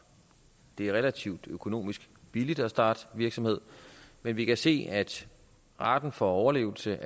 det er relativt økonomisk billigt at starte virksomhed men vi kan se at raten for overlevelse